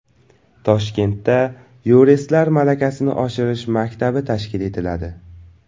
Toshkentda yuristlar malakasini oshirish maktabi tashkil etiladi.